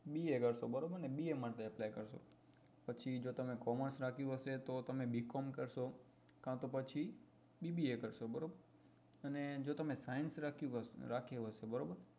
BA કરશો બરોબર ને ba માટે apply કરશો પછી જો તમે commerce રાખ્યું હશે તો તમે b com કરશો કાતો પછી bba કરશો બરોબર અને જો તમે science રાખ્યું હશે બરોબર